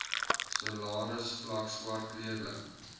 salarisvlak swart kleurling